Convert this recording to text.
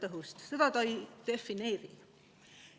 Seda see ei defineeri.